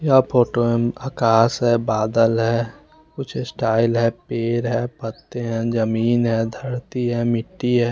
या फोटो में आकाश है बादल है कुचब स्टाइल है पेड़ है पत्ते है जमीन है धरती है मिटटी है ।